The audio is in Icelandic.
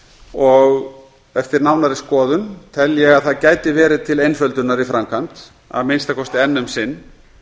og eftir nánari skoðun tel ég að það gæti verið til einföldunar í framkvæmd að minnsta kosti enn um sinn